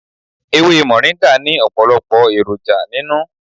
Ewé moringa ni ọpọlọpọ èròjà nínú.